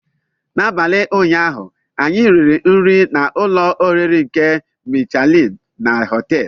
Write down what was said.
N'abalị ụnyaahụ, anyị riri nri na ụlọ oriri nke Michelin na họteelu.